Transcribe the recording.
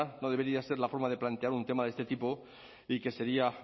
no debería ser la forma de plantear un tema de este tipo y que sería